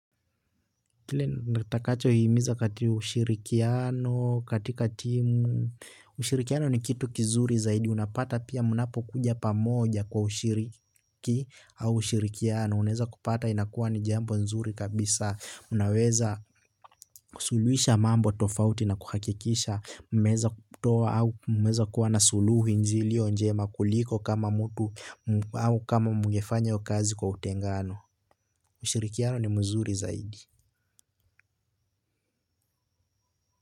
Kile natakacho hiimiza katika ushirikiano katika timu. Ushirikiano ni kitu kizuri zaidi unapata pia mnapo kuja pamoja kwa ushirikiano au ushirikiano. Uneza kupata inakuwa ni jambo nzuri kabisa unaweza kusuluhisha mambo tofauti na kuhakikisha mmeeza kutoa au mmeza kuwa na suluhu iliyo njema kuliko kama mtu au kama mgefanya iyo kazi kwa utengano. Ushirikiano ni mzuri zaidi Muzika.